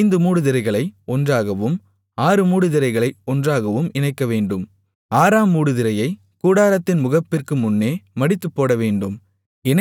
ஐந்து மூடுதிரைகளை ஒன்றாகவும் ஆறு மூடுதிரைகளை ஒன்றாகவும் இணைக்கவேண்டும் ஆறாம் மூடுதிரையைக் கூடாரத்தின் முகப்பிற்கு முன்னே மடித்துப்போடவேண்டும்